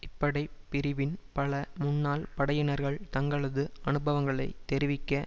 இப்படைப் பிரிவின் பல முன்னாள் படையினர்கள் தங்களது அனுபவங்களை தெரிவிக்க